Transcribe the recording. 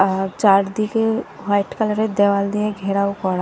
আর চারদিকে white colour -এর দেয়াল দিয়ে ঘেরাও করা।